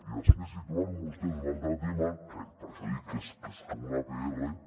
i després situen vostès un altre tema que per això dic que és com una pr